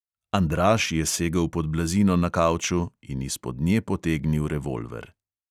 Andraž je segel pod blazino na kavču in izpod nje potegnil revolver.